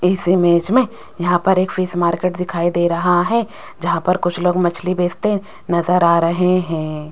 इस इमेज में यहां पर एक फिश मार्केट दिखाई दे रहा है जहां पर कुछ लोग मछली बेचते नजर आ रहे हैं।